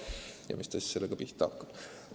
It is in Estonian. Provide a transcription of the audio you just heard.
Ja mis ta siis selle infoga pihta hakkab?